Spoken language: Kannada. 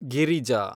ಗಿರಿಜಾ